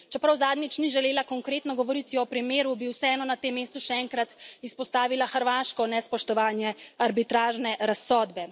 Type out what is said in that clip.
In čeprav zadnjič ni želela konkretno govoriti o primeru, bi vseeno na tem mestu še enkrat izpostavila hrvaško nespoštovanje arbitražne razsodbe.